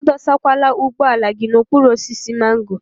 A dọsakwala ụgbọala gị n'okpuru osisi mango.